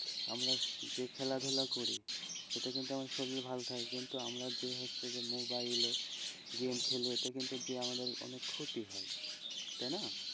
আমরা যে খেলাধুলা করি সেটা কিন্তু আমাদের শরীর ভালো থাকে কিন্তু আমরা যে হচ্ছে যে মোবাইলএ গেম খেলি এতে কিন্তু আমাদের অনেক ক্ষতি হয়,